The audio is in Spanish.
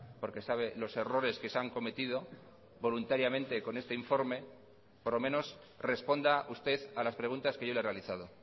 porque sabe los errores que se han cometido voluntariamente con este informe por lo menos responda usted a las preguntas que yo le he realizado